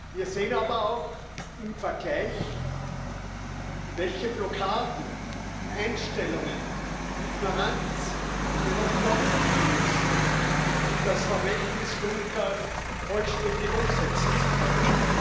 Wir sehen aber auch im Vergleich, welche Blockaden, Einstellungen, Ignoranz wir noch überwinden müssen, um das Vermächtnis Juncker vollständig umsetzen zu können.